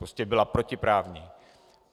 Prostě byla protiprávní.